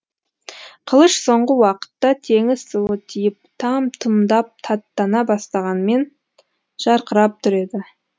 қылыш соңғы уақытта теңіз суы тиіп там тұмдап таттана бастағанмен жарқырап тұр еді